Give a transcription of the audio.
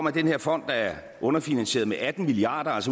at den her fond er underfinansieret med atten milliard